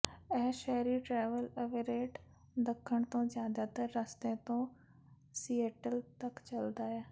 ਇਹ ਸ਼ਹਿਰੀ travel Everett ਦੱਖਣ ਤੋਂ ਜ਼ਿਆਦਾਤਰ ਰਸਤੇ ਤੋਂ ਸਿਏਟਲ ਤੱਕ ਚੱਲਦਾ ਹੈ